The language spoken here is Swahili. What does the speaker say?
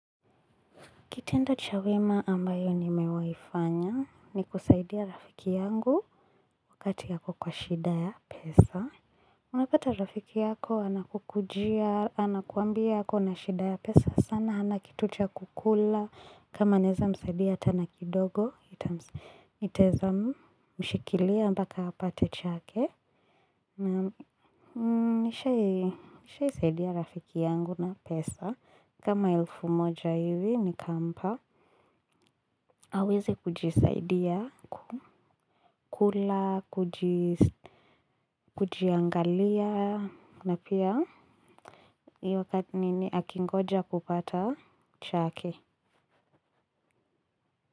Kitendo cha wema ambayo nimewai fanya ni kusaidia rafiki yangu wakati ako kwa shida ya pesa. Unapata rafiki yako anakukujia, anakuambia ako na shida ya pesa sana, hana kitu cha kukula. Kama naeza msaidia hata na kidogo, itaeza mshikilia mbaka apate chake. Nishaisaidia rafiki yangu na pesa. Kama elfu moja hivi nikampa. Hawezi kujisaidia, kukula, kujiangalia, na pia iyo nini akingoja kupata chake.